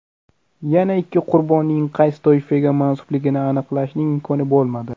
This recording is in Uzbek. Yana ikki qurbonning qaysi toifaga mansubligini aniqlashning imkoni bo‘lmadi.